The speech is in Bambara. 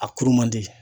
A kuru man di